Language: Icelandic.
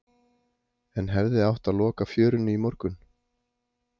En hefði átt að loka fjörunni í morgun?